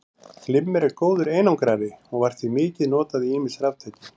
Glimmer er góður einangrari og var því mikið notað í ýmis raftæki.